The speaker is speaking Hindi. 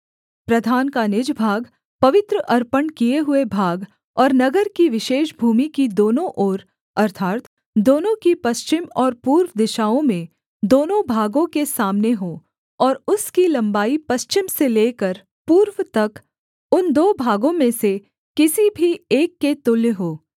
प्रधान का निज भाग पवित्र अर्पण किए हुए भाग और नगर की विशेष भूमि की दोनों ओर अर्थात् दोनों की पश्चिम और पूर्व दिशाओं में दोनों भागों के सामने हों और उसकी लम्बाई पश्चिम से लेकर पूर्व तक उन दो भागों में से किसी भी एक के तुल्य हो